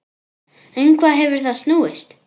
Um hvað hefur það snúist?